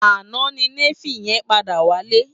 Àná ni Néfi yèn pàdá wálé